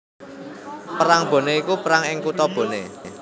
Perang Boné iku perang ing kutha Boné